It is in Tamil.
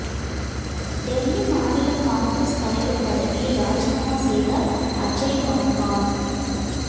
டெல்லி மாநில காங்கிரஸ் தலைவர் பதவியை ராஜினாமா செய்தார் அஜய் மக்கான்